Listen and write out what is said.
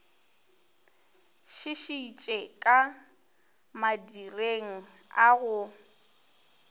šišitše ka madireng a go